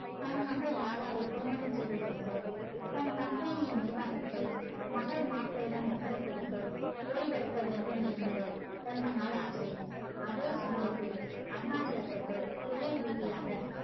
தன் மகள் ராதாவை திருமணம் செய்து கொடுத்து தன் company நிருவாகத்தை மகள் மாப்பிள்ளையுடம் ஒப்படைத்துவிட்டு ஓய்வெடுக்க வேண்டும் என்று ரொம்ப நாள் ஆசை அதே சமையத்தில் அருணாச்சலத்துக்கு தொழில் ரீதியாக